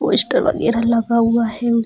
Poster वैगरह लगा हुआ है।